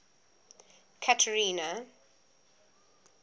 catherina